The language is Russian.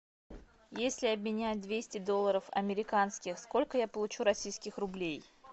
если обменять двести долларов американских сколько я получу российских рублей